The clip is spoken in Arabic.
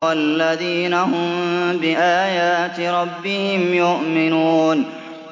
وَالَّذِينَ هُم بِآيَاتِ رَبِّهِمْ يُؤْمِنُونَ